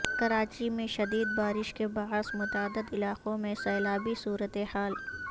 کراچی میں شدید بارش کے باعث متعدد علاقوں میں سیلابی صورتحال